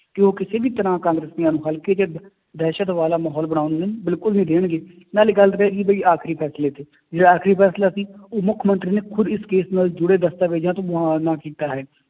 ਕਿ ਉਹ ਕਿਸੇ ਵੀ ਤਰ੍ਹਾਂ ਕਾਂਗਰਸੀਆਂ ਨੂੰ ਹਲਕੇ ਤੇ ਦ ਦਹਿਸ਼ਤ ਵਾਲਾ ਮਾਹੌਲ ਬਣਾਉਣ ਨਹੀਂ, ਬਿਲਕੁਲ ਨਹੀਂ ਦੇਣਗੇ ਨਾਲੇ ਗੱਲ ਤੇ ਪੈ ਗਈ ਵੀ ਆਖ਼ਰੀ ਫੈਸਲੇ ਤੇ, ਜਿਹੜਾ ਆਖ਼ਰੀ ਫੈਸਲਾ ਸੀ ਉਹ ਮੁੱਖ ਮੰਤਰੀ ਨੇ ਖੁੱਦ ਇਸ case ਨਾਲ ਜੁੜੇ ਦਸਤਾਵੇਜ਼ਾਂ ਤੋਂ ਮੁਆਨਾ ਕੀਤਾ ਹੈ,